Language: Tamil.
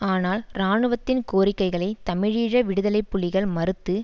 ஆனால் இராணுவத்தின் கோரிக்கைகளை தமிழீழ விடுதலை புலிகள் மறுத்து